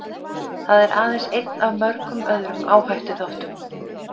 Það er aðeins einn af mörgum öðrum áhættuþáttum.